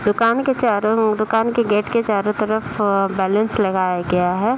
दुकान के चारों ओर दुकान के गेट के चारों तरफ बैलून्स लगाया गया है।